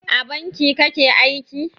A banki kake aiki?